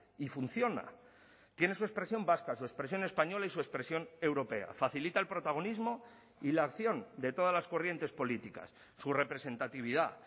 y funciona tiene su expresión vasca su expresión española y su expresión europea facilita el protagonismo y la acción de todas las corrientes políticas su representatividad